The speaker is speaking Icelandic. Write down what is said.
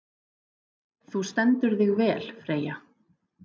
Þú stendur þig vel, Freyja!